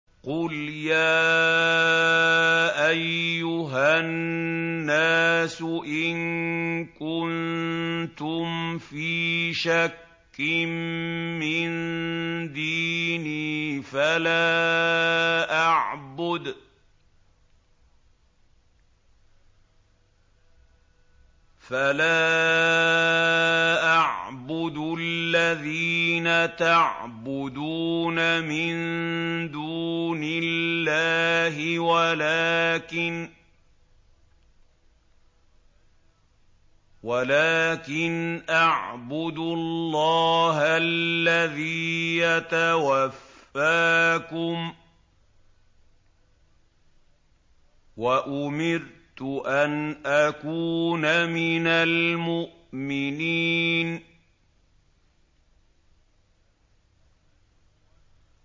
قُلْ يَا أَيُّهَا النَّاسُ إِن كُنتُمْ فِي شَكٍّ مِّن دِينِي فَلَا أَعْبُدُ الَّذِينَ تَعْبُدُونَ مِن دُونِ اللَّهِ وَلَٰكِنْ أَعْبُدُ اللَّهَ الَّذِي يَتَوَفَّاكُمْ ۖ وَأُمِرْتُ أَنْ أَكُونَ مِنَ الْمُؤْمِنِينَ